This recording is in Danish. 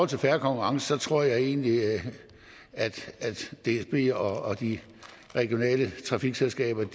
til fair konkurrence tror jeg egentlig at dsb og de regionale trafikselskaber